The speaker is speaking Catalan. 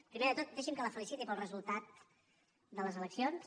primer de tot deixi’m que la feliciti pel resultat de les eleccions